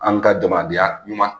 An ka jamanadenya ɲuman